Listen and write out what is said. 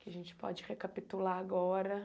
Que a gente pode recapitular agora.